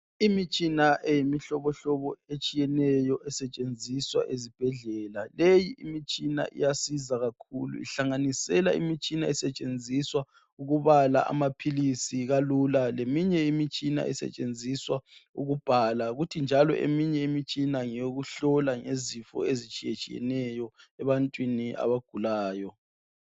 Imitshina eyimihlobo hlobo etshiyeneyo esetshenziswa ezibhedlela. Leyi imitshina iyasiza kakhulu ihlanganisela imitshina esetshenziswa ukubala amaphilisi kalula leminye imitshina esetshenziswa ukubhala futhi njalo eminye imitshina ngeyokuhlola ngezifo ezitshiyetshiyeneyo ebantwini abagulayo.